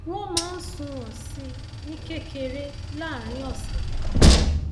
wọn máa ń sunwọn sí i ní kẹrẹkẹrẹ láàárín ọsẹ kan